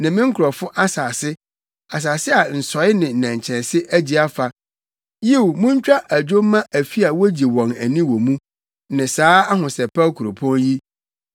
ne me nkurɔfo asase, asase a nsɔe ne nnɛnkyɛnse agye afa. Yiw, montwa adwo mma afi a wogye wɔn ani wɔ mu ne saa ahosɛpɛw kuropɔn yi.